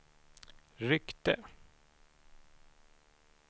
ryckte